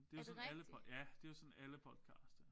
Det jo sådan alle ja det jo sådan alle podcast er